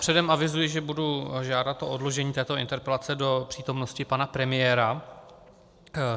Předem avizuji, že budu žádat o odložení této interpelace do přítomnosti pana premiéra.